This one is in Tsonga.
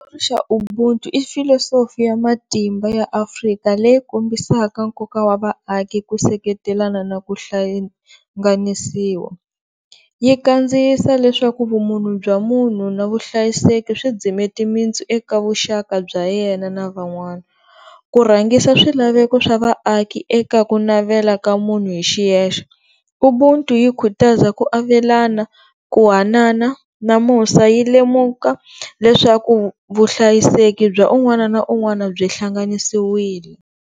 Ubuntu i philosophy ya matimba ya Afrika leyi kombisaka nkoka wa vaaki ku seketelana na ku hlanganisiwa, yi kandziyisa leswaku vumunhu bya munhu na vuhlayiseki swi dzime timintsu eka vuxaka bya yena na van'wana. Ku rhangisa swilaveko swa vaaki eka ku navela ka munhu hi xiyexe, Ubuntu yi khutaza ku avelana, ku hanana na musa yi lemuka leswaku vuhlayiseki bya un'wana na un'wana byi hlanganisiwile.